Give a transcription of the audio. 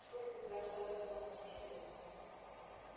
сколько у тебя осталось патронов спросил он